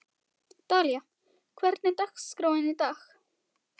Dalía, hvernig er dagskráin í dag?